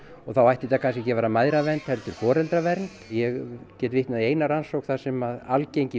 þá ætti þetta kannski ekki að vera mæðravernd heldur foreldravernd ég get vitnað í eina rannsókn þar sem að algengi